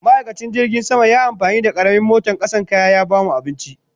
Ma'aikacin jirgin sama yayi amfani da karamin moton kwasan kaya ya bamu abinci